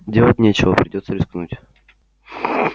делать нечего придётся рискнуть